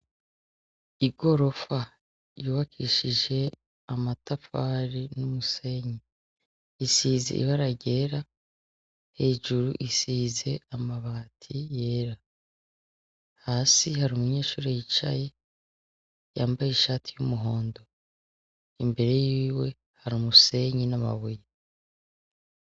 I gorofa yubakishije amatapfari n'umusenyi, isize ibara ryera hejuru isize amabati yera, hasi hari umunyeshuri yicaye yambaye ishati y'umuhondo imbere yiwe harimusenyi n'amabuye.